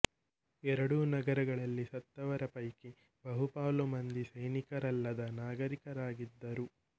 ಎರಡೂ ನಗರಗಳಲ್ಲಿ ಸತ್ತವರ ಪೈಕಿ ಬಹುಪಾಲು ಮಂದಿ ಸೈನಿಕರಲ್ಲದ ನಾಗರಿಕರಾಗಿದ್ದರು